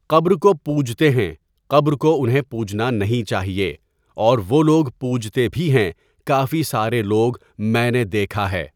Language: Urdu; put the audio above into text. قبر کو پوجتے ہیں قبر کو انہیں پوجنا نہیں چاہیے اور وہ لوگ پوجتے بھی ہیں کافی سارے لوگ میں نے دیکھا ہے.